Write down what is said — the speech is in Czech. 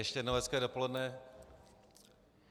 Ještě jednou hezké dopoledne.